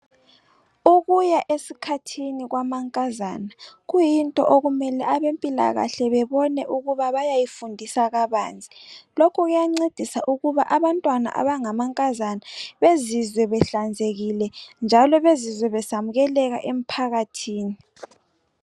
Ukuya esikhathini kwamankazana kuyinto okumele abempilakahle bebone ukuba bayayifundisa kabanzi. Lokhu kuyancedisa ukuba abantwana abangamankazana bezizwe behlanzekile, njalo bezizwe besamkeleka emphakathini.